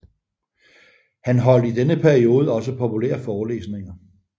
Han holdt i denne tid også populære forelæsninger